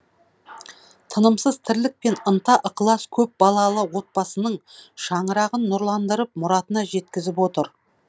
тынымсыз тірлік пен ынта ықылас көп балалы отбасының шаңырағын нұрландырып мұратына жеткізіп отыр